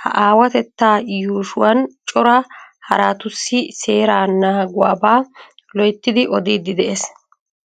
ha aawatettaa yuushshuwan cora haraatussi seeraa naaguwaaba loyttidi oddiidi de'ees.